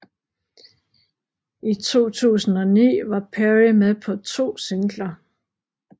I 2009 var Perry med på to singler